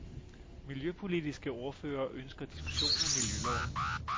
Miljøpolitiske ordførere ønsker diskussion af miljøloven.